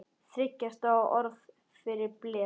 Þriggja stafa orð fyrir blek?